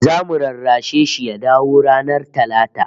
Zamu rarrashe shi ya dawo ranar Talata